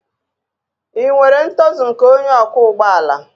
Ị nwere ntozu nke onye ọkwọ ụgbọ ala